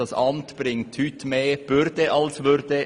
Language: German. Dieses Amt bringt heute mehr Bürde als Würde;